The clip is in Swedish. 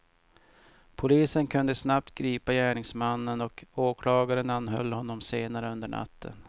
Polisen kunde snabbt gripa gärningsmannen och åklagaren anhöll honom senare under natten.